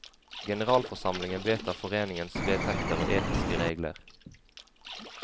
Generalforsamlingen vedtar foreningens vedtekter og etiske regler.